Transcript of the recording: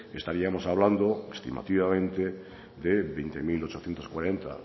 estaríamos hablando estimativamente de veinte mil ochocientos cuarenta